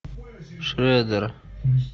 шредер